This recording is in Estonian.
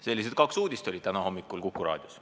" Sellised kaks uudist olid täna hommikul Kuku Raadios.